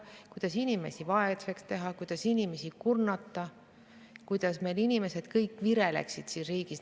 Teavad, kuidas inimesi vaeseks teha ja kurnata, et meil kõik inimesed vireleksid siin riigis.